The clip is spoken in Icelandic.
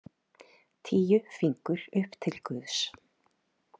Tíu fingur upp til guðs.